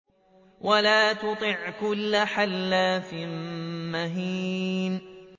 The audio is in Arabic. وَلَا تُطِعْ كُلَّ حَلَّافٍ مَّهِينٍ